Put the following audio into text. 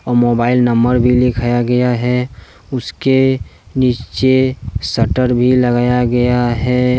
Mobile number भी लिखाया गया है उसके नीचे शटर भी लगाया गया है।